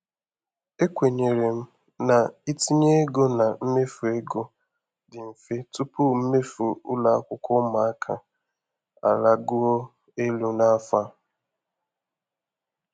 Ekwenyere m na itinye ego na mmefu ego dị mfe tupu mmefu ụlọ akwụkwọ ụmụaka alaguo elu n'afọ a.